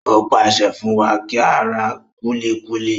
Ó pàṣẹ fún wa kí á ra kúlíkúlí.